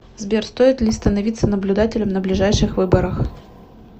сбер стоит ли становиться наблюдателем на ближайших выборах